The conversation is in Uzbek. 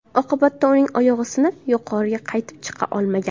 Oqibatda uning oyog‘i sinib, yuqoriga qaytib chiqa olmagan.